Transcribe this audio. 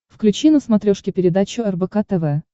включи на смотрешке передачу рбк тв